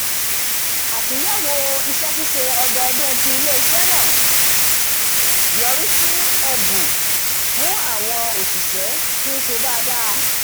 àtúnyẹ̀wò iṣẹ́ ṣíṣe ọdọọdún ti ilé-iṣẹ́ náà yọrísí ẹ̀bù fún àwọon òṣìṣẹ́ t ń ṣe dáadáda